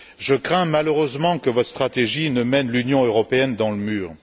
Je crains malheureusement que votre stratégie ne mène l'Union européenne dans le mur.